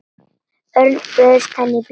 Örn, bauðstu henni í bíó?